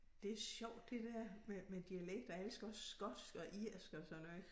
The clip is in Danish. Det sjovt det der med med dialekt jeg elsker også skotsk og irsk og sådan noget